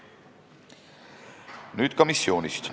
Nüüd ka missioonist.